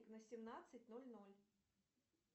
на семнадцать ноль ноль